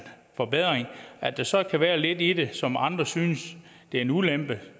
forbedring at der så kan være lidt i det som andre synes er en ulempe